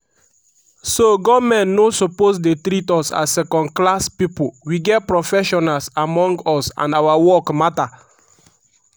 "so goment no suppose dey treat us as second-class pipo we get professionals among us and our work matter.